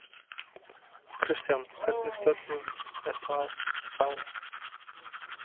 Kristján: Hvernig störfum er það þá?